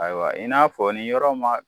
Ayiwa in n'a fɔ ni yɔrɔ ma